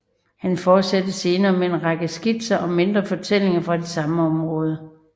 Han fortsatte senere med en række skitser og mindre fortællinger fra det samme område